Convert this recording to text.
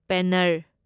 ꯄꯦꯟꯅꯔ